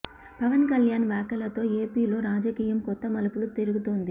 పవన్ కళ్యాణ్ వ్యాఖ్యలతో ఏపీ లో రాజకీయం కొత్త మలుపులు తిరుగుతోంది